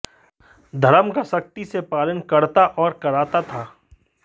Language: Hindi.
धर्म का सख्ती से पालन करता और कराता था